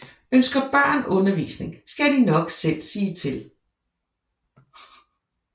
Ønsker børn undervisning skal de nok selv sige til